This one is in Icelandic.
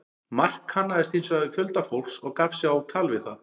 Mark kannaðist hins vegar við fjölda fólks og gaf sig á tal við það.